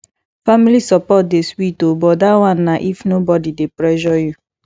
family support dey sweet o but dat one na if nobodi dey pressure you